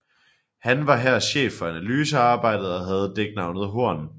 Han var her chef for analysearbejdet og havde dæknavnet Horn